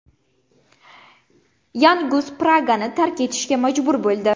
Yan Gus Pragani tark etishga majbur bo‘ldi.